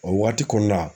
O waati kɔnɔna